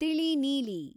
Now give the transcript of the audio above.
ತಿಳಿ ನೀಲಿ